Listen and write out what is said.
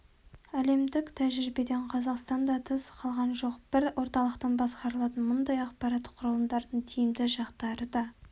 әлемдік тәжірибеден қазақстан да тыс қалған жоқ бір орталықтан басқарылатын мұндай ақпараттық құрылымдардың тиімді жақтары да